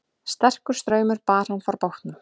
Sterkur straumur bar hann frá bátnum